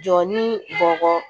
Jɔ ni bɔgɔ